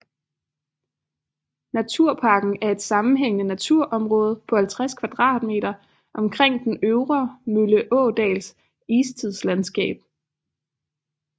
Naturparken er et sammenhængende naturområde på 50 km2 omkring den Øvre Mølleådals istidslandskab